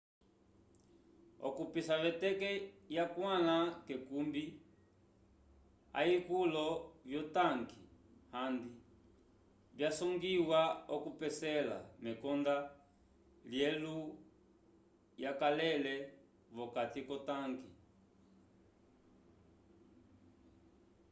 okupisa veteke yakwãla k'ekumbi ayikulo vyotanke handi vyasangiwa okupesela mekonda lyelulwo yakalele vokati k'otanke